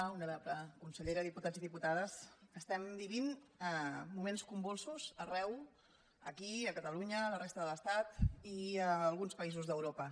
honorable consellera diputats i diputades estem vivint moments convulsos arreu aquí a catalunya a la resta de l’estat i a alguns països d’europa